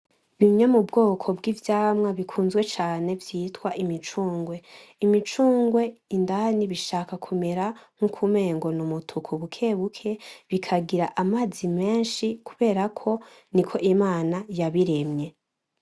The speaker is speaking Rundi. Bimwe mubwoko bw'ivyamwa bikunzwe cane vyitwa imicugwe. Imicugwe indani bishaka kumera nkuko umengo n'umutuku bukebuke bikagira amazi menshi kuberako niko Imana yabiremye.